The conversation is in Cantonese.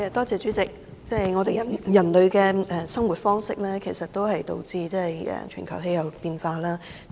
主席，人類的生活方式是導致全球氣候變化的原因。